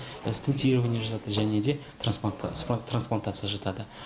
стендтирование жатады және де трансплантация жатады